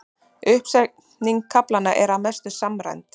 Uppsetning kaflanna er að mestu samræmd